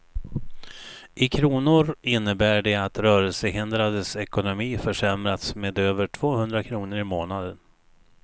I kronor innebär det att rörelsehindrades ekonomi försämrats med över två hundra kronor i månaden.